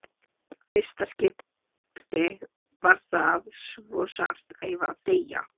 Í fyrsta skipti var það svo sárt að ég var að deyja.